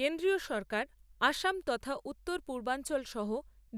কেন্দ্রীয় সরকার অসম তথা উত্তর পূর্বাঞ্চল সহ